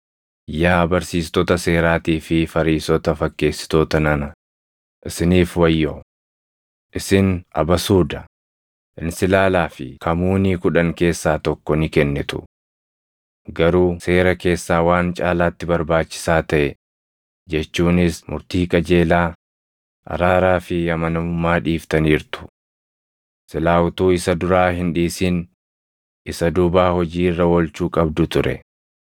“Yaa barsiistota seeraatii fi Fariisota fakkeessitoota nana, isiniif wayyoo! Isin abasuuda, insilaalaa fi kamuunii kudhan keessaa tokko ni kennitu. Garuu seera keessaa waan caalaatti barbaachisaa taʼe jechuunis murtii qajeelaa, araaraa fi amanamummaa dhiiftaniirtu. Silaa utuu isa duraa hin dhiisin isa duubaa hojii irra oolchuu qabdu ture.